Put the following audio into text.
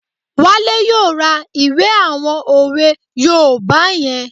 Wale yóò ra ìwé àwọn òwe yoòbá yẹn